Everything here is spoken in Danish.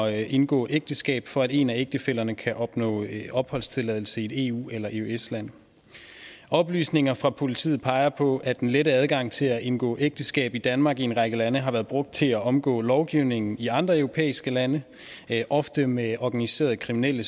at indgå ægteskab for at en af ægtefællerne kan opnå opholdstilladelse i et eu eller eøs land oplysninger fra politiet peger på at den lette adgang til at indgå ægteskab i danmark i en række lande har været brugt til at omgå lovgivningen i andre europæiske lande ofte med organiserede kriminelle